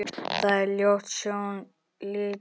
Það er ljót sjón lítil.